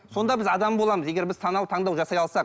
сонда біз адам боламыз егер біз саналы таңдау жасай алсақ